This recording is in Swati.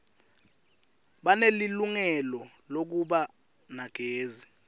banelilungelo lekuba nagezi